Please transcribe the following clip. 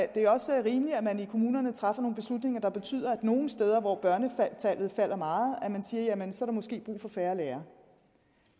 det jo også rimeligt at man i kommunerne træffer nogle beslutninger der betyder at man nogle steder hvor børnetallet falder meget siger at jamen så er der måske brug for færre lærere